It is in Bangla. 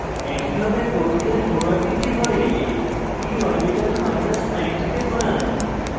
একইভাবে প্রক্রিয়ার পুনরাবৃত্তি করে p orbital 90 তে ঘোরান